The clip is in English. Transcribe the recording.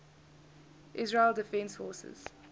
israel defense forces